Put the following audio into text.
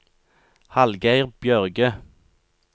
Hallgeir Bjørge